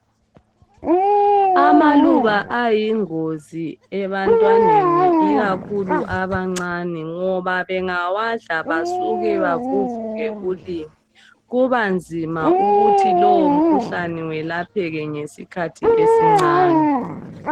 Amaluba ayingozi ebantwaneni ikakhulu abancane ngoba bengawadla basuke bavuvuke ulimi kubanzima ukuthi lowo mkhuhlane welapheke ngesikhathi esincane.